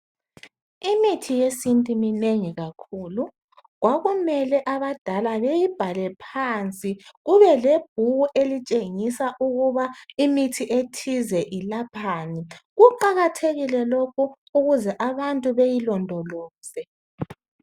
imithi yesintu minengi kakhulu kwakumele abadala beyibhale phansi kube lebhuku elitshengisa ukuba imithi ethize ilaphani kuqakathekile lokhu ukuze abantu beyilondoloze